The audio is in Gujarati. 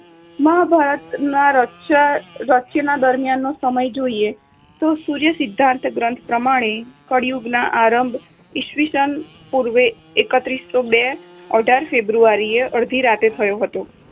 મહાભારત ના રચય~ રચના દરમિયાન સમય જોઈએ તો સૂર્ય સિદ્ધાન્ત ગ્રંથ પ્રમાણે કળિયુગના આરંભ ઈસ્વીસન પૂર્વ એકત્રીસો બે અઢાર ફેબ્રુઆરીએ અડધી રાત્રે થયો હતો.